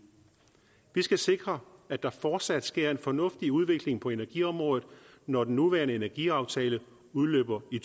vi skal sikre at der fortsat sker en fornuftig udvikling på energiområdet når den nuværende energiaftale udløber i